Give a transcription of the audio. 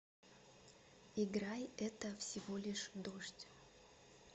играй это всего лишь дождь